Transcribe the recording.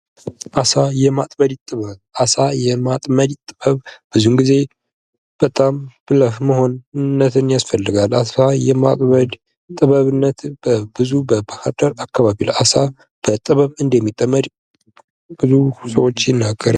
አሳ የማጥመድ ጥበብ:- አሳ የማጥመድ ጥበብ ብዙ ጊዜ በጣም ብልህ መሆን ያስፈልጋል። ለአሳ የማጥመድ ጥበብነት በብዙ በባህርዳር አካባቢ በጥበብ እንደሚጠመድ ብዙ ሰዎች ይናገራሉ።